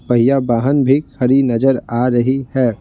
भैया बहन भी खड़ी नजर आ रही है।